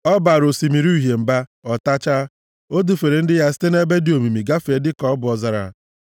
Ọ baara Osimiri Uhie mba, ọ tachaa; o dufere ndị ya site nʼebe dị omimi gafee dịka ọ bụ ọzara.